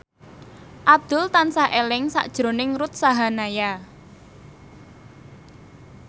Abdul tansah eling sakjroning Ruth Sahanaya